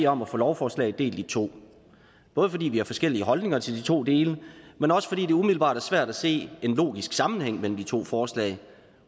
om at få lovforslaget delt i to både fordi vi har forskellige holdninger til de to dele men også fordi det umiddelbart er svært at se en logisk sammenhæng mellem de to forslag